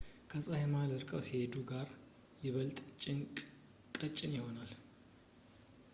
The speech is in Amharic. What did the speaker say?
ከፀሐይ መሃል ርቀው ሲሄዱ ጋዙ ይበልጥ ቀጭን ይሆናል